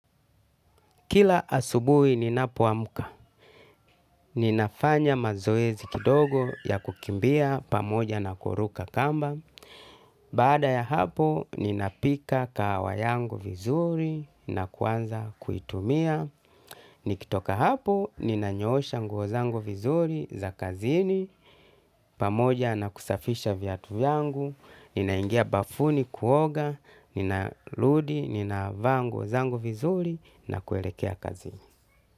Kila asubuhi ninapoamka, ninafanya mazoezi kidogo ya kukimbia pamoja na kuruka kamba. Baada ya hapo, ninapika kahawa yangu vizuri na kuanza kuitumia. Nikitoka hapo, ninanyoosha nguo zangu vizuri za kazini, pamoja na kusafisha viatu yangu, ninaingia bafuni kuoga, ninarudi, ninavaa nguo zangu vizuri na kuelekea kazini.